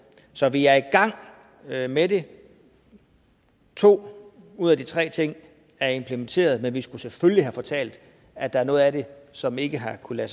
så vi er i gang med med det to ud af de tre ting er implementeret men vi skulle selvfølgelig have fortalt at der er noget af det som ikke har kunnet